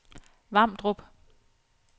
Vamdrup